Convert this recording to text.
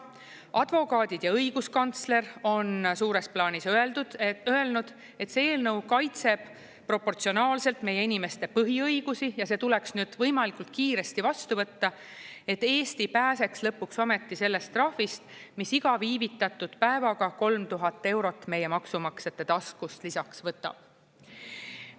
Advokaadid ja õiguskantsler on suures plaanis öelnud, et see eelnõu kaitseb proportsionaalselt meie inimeste põhiõigusi ja see tuleks võimalikult kiiresti vastu võtta, et Eesti pääseks lõpuks ometi sellest trahvist, mis iga viivitatud päevaga 3000 eurot meie maksumaksjate taskust lisaks võtab.